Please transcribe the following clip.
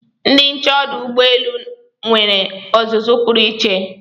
Ndị nche ọdụ ụgbọelu nwere ọzụzụ pụrụ iche